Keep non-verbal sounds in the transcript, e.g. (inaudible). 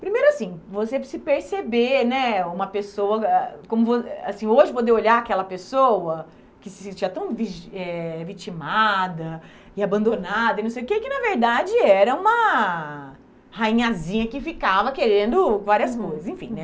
Primeiro assim, você se perceber, né, uma pessoa, ah (unintelligible) assim, hoje poder olhar aquela pessoa que se sentia tão vi eh vitimada e abandonada e não sei o que, que na verdade era uma rainhazinha que ficava querendo várias coisas, uhum, enfim, né.